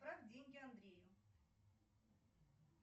отправь деньги андрею